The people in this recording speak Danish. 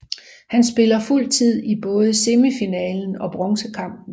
Han spillede fuld tid i både semifinalen og bronzekampen